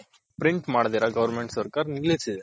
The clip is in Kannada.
print ಮಾಡದಿರ goverment ಸರ್ಕಾರ ನಿಲಿಸಿದೆ